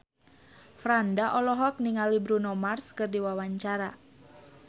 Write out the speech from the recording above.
Franda olohok ningali Bruno Mars keur diwawancara